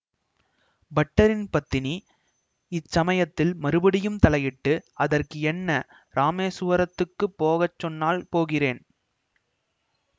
பட்டரின் பத்தினி இச்சமயத்தில் மறுபடியும் தலையிட்டு அதற்கு என்ன இராமேசுவரத்துக்கு போக சொன்னால் போகிறேன்